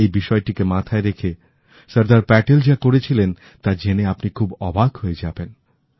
আর এই বিষয়টিকেমাথায় রেখে সর্দারপ্যাটেল যা করেছিলেন তা জেনে আপনি খুব অবাক হয়ে যাবেন